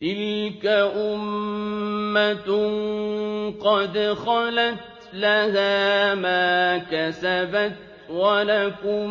تِلْكَ أُمَّةٌ قَدْ خَلَتْ ۖ لَهَا مَا كَسَبَتْ وَلَكُم